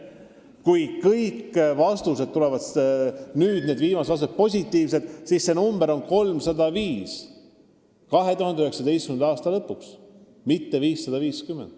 Kui kõik viimased vastused taotlustele on positiivsed, siis see arv on 2019. aasta lõpuks 305, mitte 550.